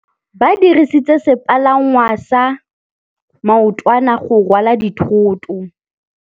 Ba dirisitse sepalangwasa maotwana go rwala dithôtô.